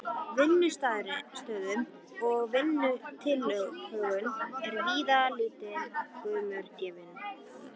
Vinnuaðstöðu og vinnutilhögun er víða lítill gaumur gefinn.